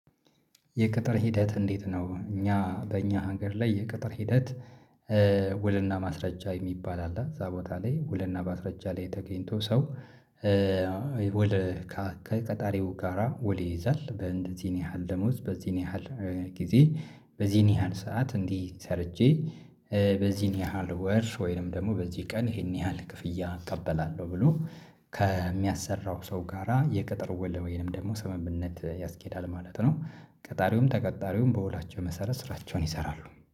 የቅጥር ሂደት እንዴት ነው? እኛ በእኛ ሀገር ላይ የቅጥር ሂደት ውልና ማስረጃ የሚባል አለ እዛ ቦታ ላይ ውልና ማስረጃ ላይ ተገኝቶ ሰው። ውል ከቀጣሪው ጋራ ወደ ይይዛል በእንደዚህን ያህል ደሞዝ በዚህን ያህል ጊዜ በዚህን ያህል ሰዓት እንዲህ ሰርቼ በዚህን ያህል ወር ወይንም ደግሞ በዚህ ቀን ይሄን ያህል ክፍያ እቀበላለሁ ብሎ ከሚያሰራው ሰው ጋራ የቅጥር ውል ወይንም ደግሞ ሰምምነት ያስኬዳል ማለት ነው። ቀጣሪውም ተቀጣሪውም በወላቸው መሰረት ስራቸውን ይሰራሉ